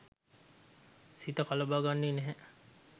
සිත කලඹා ගන්නෙ නැහැ.